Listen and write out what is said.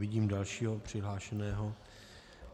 Vidím dalšího přihlášeného.